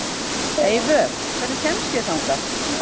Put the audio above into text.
Eyvör, hvernig kemst ég þangað?